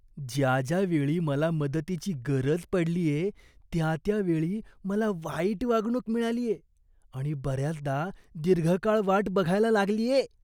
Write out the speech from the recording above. ज्या ज्या वेळी मला मदतीची गरज पडलीये त्या त्या वेळी मला वाईट वागणूक मिळालीये आणि बऱ्याचदा दीर्घकाळ वाट बघायला लागलीये.